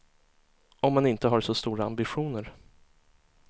Om man inte har så stora ambitioner.